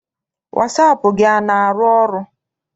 Wasaapụ gị ana arụ ọrụ?